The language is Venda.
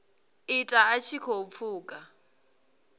ita a tshi khou pfuka